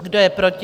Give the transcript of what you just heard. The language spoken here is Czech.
Kdo je proti?